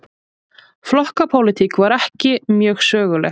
Flokkapólitík var ekki mjög söguleg.